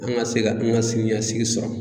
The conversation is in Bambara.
An ga se ka n ka sini ɲɛsigi sɔrɔ